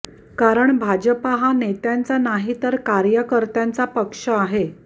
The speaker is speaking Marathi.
कारण भाजपा हा नेत्यांचा नाही तर कार्यकर्त्यांचा पक्ष आहे